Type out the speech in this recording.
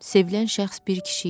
Sevilən şəxs bir kişi idi.